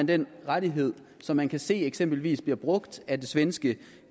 den rettighed som man kan se eksempelvis bliver brugt af den svenske